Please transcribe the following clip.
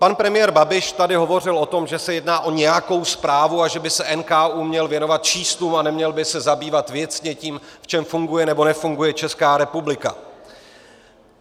Pan premiér Babiš tady hovořil o tom, že se jedná o nějakou zprávu a že by se NKÚ měl věnovat číslům a neměl by se zabývat věcně tím, v čem funguje nebo nefunguje Česká republika.